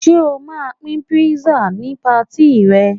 Ṣé o ma pín kpísà ni patí ì rẹ